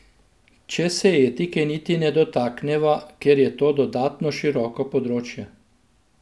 Če se etike niti ne dotakneva, ker je to dodatno široko področje.